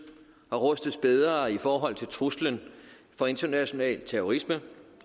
og rustes bedre i forhold til truslen fra international terrorisme